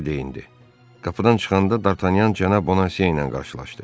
Qapıdan çıxanda Dartanyan cənab Bonaseylə qarşılaşdı.